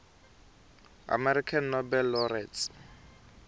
american nobel laureates